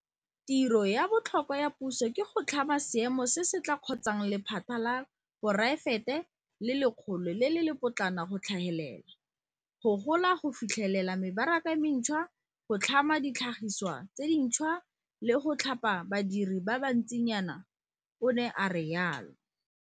Tiro ya botlhokwa ya puso ke go tlhama seemo se se tla kgontshang lephata la poraefete le legolo le le lepotlana go tlhagelela, go gola, go fitlhelela mebaraka e mentšhwa, go tlhama ditlhagiswa tse dintšhwa, le go thapa badiri ba bantsinyana, o ne a rialo.